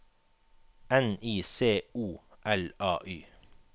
N I C O L A Y